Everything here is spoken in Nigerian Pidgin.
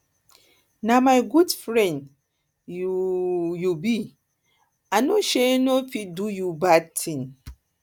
na my good friend my good friend you um be i um no um fit do you bad thing